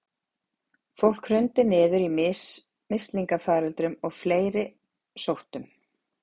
Fólk hrundi niður í mislingafaröldrum og fleiri sóttum.